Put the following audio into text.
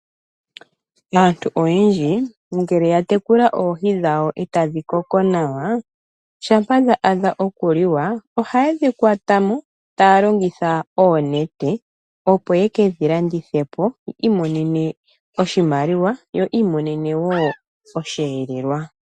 Aantu oyendji ngele yatekula oohi dhawo , ee tadhi koko nawa, shampa dha adha okuliwa, ohaye dhi kwatamo taya longitha oonete opo yekedhi landithepo yiimonene oshimaliwa yo yiimonene woo oshiyelelwa.